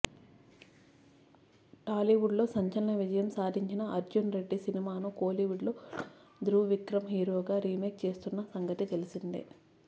టాలీవుడ్లో సంచలన విజయం సాధించిన అర్జున్ రెడ్డి సినిమాను కోలీవుడ్లో ధృవ్ విక్రమ్ హీరోగా రీమేక్ చేస్తున్న సంగతి తెలిసిందే